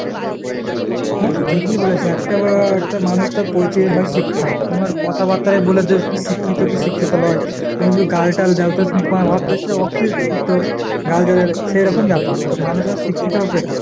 হ্যাঁ তুই ঠিকই বলেছে, একটা উম একটা মানুষ তার পরিচয় হয় শিক্ষা। তুমার কথাবাত্রায় বলে দেবে তুমি শিক্ষিত কি শিক্ষিত লয় ? তুমি যদি গালটাল দাও তো তুমায় ভাববে সে অশিক্ষিত। গাল রে। সেরকম ব্যাপার। এখন মানুষের শিক্ষিত হওয়া বেকার।